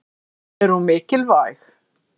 Er hún mikilvæg?